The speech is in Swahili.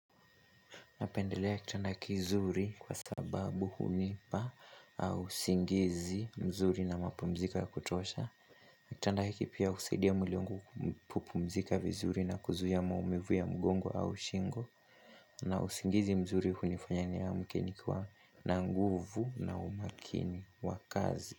Napendelea kitanda kizuri kwa sababu hunipa au usingizi mzuri na mapumziko ya kutosha. Kitanda hiki pia husaidia mwili wangu kupupumzika vizuri na kuzuia maumivu ya mgongo au shingo. Na usingizi mzuri hunifanya niamke nikiwa na nguvu na umakini wa kazi.